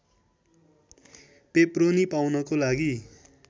pepperoni पाउनको लागि